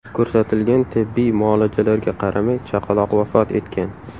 Ko‘rsatilgan tibbiy muolajalarga qaramay chaqaloq vafot etgan.